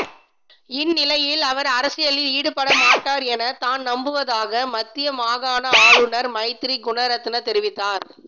இந்தநிலையில் அவர் அரசியலில் ஈடுபடமாட்டார் என தான் நம்புவதாக மத்தியமாகாண ஆளுனர் மைத்ரி குனரட்ன தெரிவித்தார்